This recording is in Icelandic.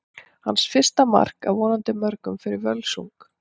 Hans fyrsta mark, af vonandi mörgum, fyrir Völsung!